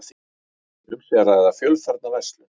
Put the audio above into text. Um sé að ræða fjölfarna verslun